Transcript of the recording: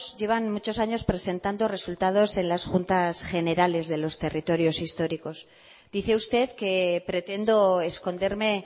llevan muchos años presentando resultados en las juntas generales de los territorios históricos dice usted que pretendo esconderme